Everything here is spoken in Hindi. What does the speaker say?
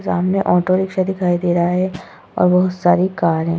सामने ऑटोरिक्शा दिखाई दे रहा है और बहुत सारी कार है।